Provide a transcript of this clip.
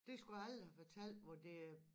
Det skulle jeg aldrig have fortalt hvor det er